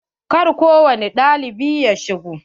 Kar ko wani ɗalibi ya shigo.